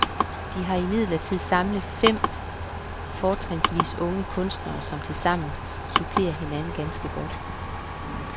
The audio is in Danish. De har imidlertid samlet fem fortrinsvis unge kunstnere, som tilsammen supplerer hinanden ganske godt.